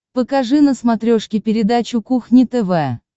покажи на смотрешке передачу кухня тв